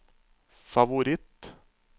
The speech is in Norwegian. favoritt